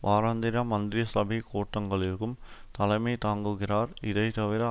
வாராந்திர மந்திரிசபை கூட்டங்களுக்கும் தலைமை தாங்குகிறார் இதைத்தவிர